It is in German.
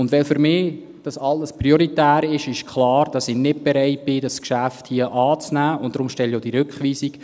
Da dies alles für mich prioritär ist, ist klar, dass ich nicht bereit bin, dieses Geschäft hier anzunehmen, und deshalb stelle ich auch diese Rückweisung.